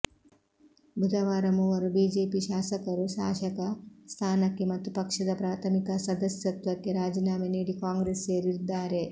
ಬುಧವಾರ ಮೂವರು ಬಿಜೆಪಿ ಶಾಸಕರು ಶಾಸಕ ಸ್ಥಾನಕ್ಕೆ ಮತ್ತು ಪಕ್ಷದ ಪ್ರಾಥಮಿಕ ಸದಸ್ಯತ್ವಕ್ಕೆ ರಾಜೀನಾಮೆ ನೀಡಿ ಕಾಂಗ್ರೆಸ್ ಸೇರಿದ್ದಾರೆ